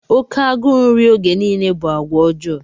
Oke agụụ nri oge niile bụ àgwà ọjọọ.